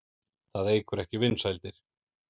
Það eykur ekki vinsældir.